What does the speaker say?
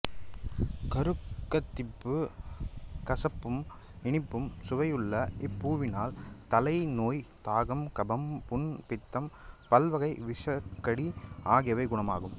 குருக்கத்திப்பூ கசப்பும் இனிப்பும் சுவையுள்ள இப்பூவினால் தலைநோய் தாகம் கபம் புண் பித்தம் பல்வகை விஷக்கடி ஆகியவை குணமாகும்